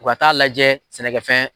U ka t taaa lajɛ sɛnɛkɛ fɛn.